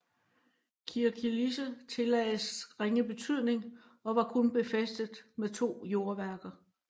Kirkkilisse tillagdes ringe betydning og var kun befæstet med to jordværker